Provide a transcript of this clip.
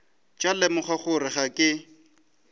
tla lemoga gore ga ke